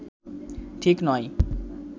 ঠিক নয়